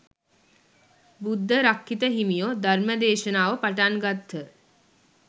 බුද්ධරක්ඛිත හිමියෝ ධර්ම දේශනාව පටන් ගත්හ.